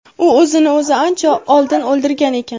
U o‘zini o‘zi ancha oldin o‘ldirgan ekan.